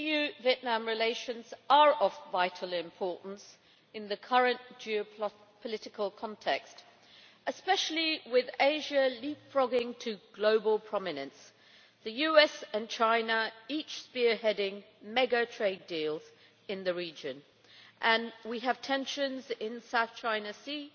EU-Vietnam relations are of vital importance in the current geopolitical context, especially with Asia leapfrogging to global prominence, the US and China each spearheading mega trade deals in the region, and tensions in the South China Sea